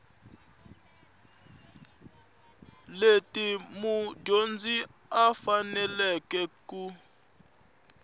leti mudyondzi a faneleke ku